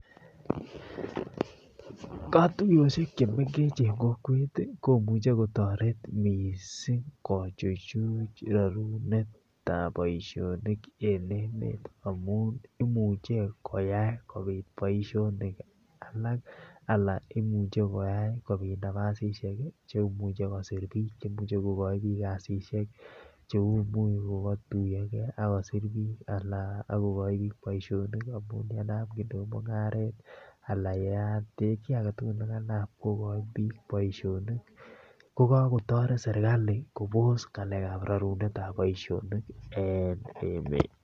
Katuyochek che mengechen en kokwet komuche kotoret mising kochuchu rorunetab boisionik en emet amun imuche koyai kobit boisionik alak ala iuche kobit nafasishek chemuche kosir biik kasishek. Che imuch kogatuiyo ge ak kosir biik anan kogoji biik boisionik amun yenam mung'aret ala yeyat kiy agetugul ne kanam kogochin biik boisionik. Ko kagotoret serkali kobos ng'alekab rorunetab boisionik en emet.